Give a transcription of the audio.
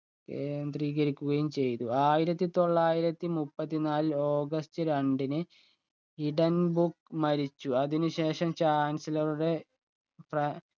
കേന്ദ്രീകരിക്കുകയും ചെയ്തു ആയിരത്തി തൊള്ളായിരത്തി മുപ്പത്തി നാലിൽ ഓഗസ്റ്റ് രണ്ടിന് ഹിഡൺബുക്ക് മരിച്ചു അതിനു ശേഷം chancellor ഉടെ